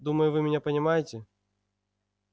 думаю вы меня понимаете